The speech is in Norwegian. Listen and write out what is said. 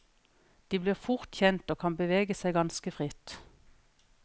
De blir fort kjent og kan bevege seg ganske fritt.